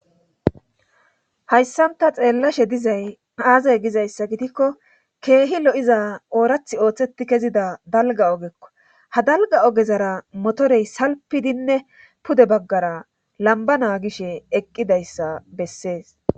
hayssan ta xeellashe dizay aazay gizayssa gitikko keehi lo7iza oorath ooththetti kezida dalga ogekko ha dalga ogezara motorey salpidinne pude baggara lambana gishe eqqidayssa bessees